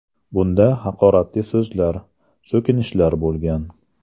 Bunda haqoratli so‘zlar, so‘kinishlar bo‘lgan.